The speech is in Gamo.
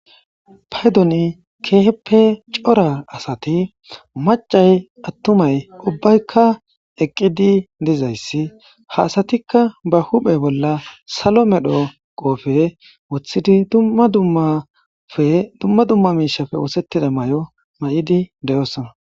Paydoni kehi corra asati maccati attumay ubbaykka eqqidi dizzayssi ha asattikka bahupheni salo medho qobbe wothidi dumma dummamishappe osettida mayoo mayidi de'ssona.